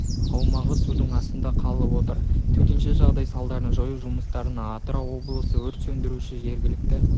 аумағы судың астында қалып отыр төтенше жағдай салдарын жою жұмыстарына атырау облысы өрт сөндіруші жергілікті